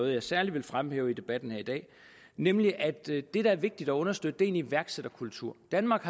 jeg særligt vil fremhæve i debatten her i dag nemlig at det der er vigtigt at understøtte er en iværksætterkultur danmark